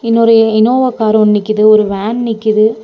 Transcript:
இன்னொரு Innova car ஒன்னு நிக்கிது ஒரு வேன் நிக்கிது.